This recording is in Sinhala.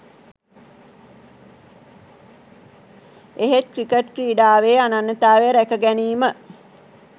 එහෙත් ක්‍රිකට් ක්‍රීඩාවේ අනන්‍යතාවය රැකගැනීම